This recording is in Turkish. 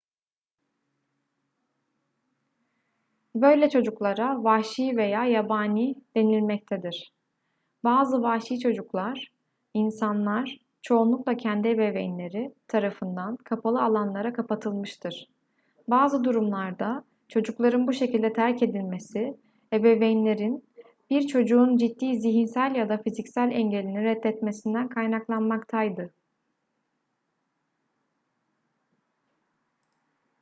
böyle çocuklara vahşi veya yabani denilmektedir. bazı vahşi çocuklar insanlar çoğunlukla kendi ebeveynleri tarafından kapalı alanlara kapatılmıştır. bazı durumlarda çocukların bu şekilde terk edilmesi ebeveynlerin bir çocuğun ciddi zihinsel ya da fiziksel engelini reddetmesinden kaynaklanmaktaydı